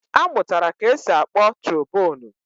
A mụtara ka-esi akpọ trobonu